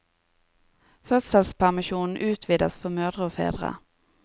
Fødselspermisjonen utvides for mødre og fedre.